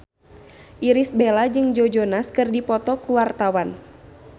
Irish Bella jeung Joe Jonas keur dipoto ku wartawan